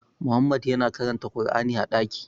Muhammadu yana karanta kur'ani a ɗaki